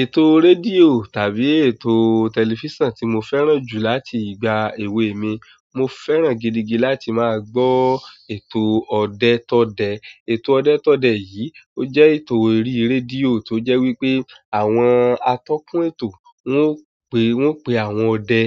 Ètò rédíò tàbí ètò tẹlifísàn tí mo fẹ́ràn jù láti ìgbà èwe mi, mo fẹ́ràn gidigi láti máa gbọ́ ètò ọdẹ̀ tọ́dẹ. Ètò ọdẹ tọ́dẹ yìí ó jẹ́ ètò eré rédíò tó jẹ́ wípé àwọn atọ́kùn ètò wọ́n pé, wọ́n pe àwọn ọdẹ,